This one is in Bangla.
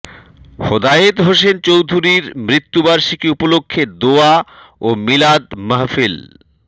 হেদায়েত হোসেন চৌধুরীর মৃত্যুবার্ষিকী উপলক্ষে দোয়া ও মিলাদ মাহফিল